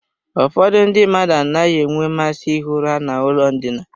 Ụfọdụ ndị mmadụ anaghị enwe mmasị ihi ụra n'ụlọ ndina.